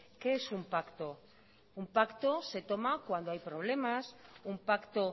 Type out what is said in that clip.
qué es un pacto un pacto se toma cuando hay problemas un pacto